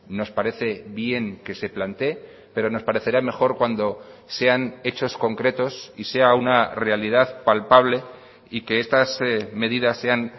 nos parece bien que se plantee pero nos parecerá mejor cuando sean hechos concretos y sea una realidad palpable y que estas medidas sean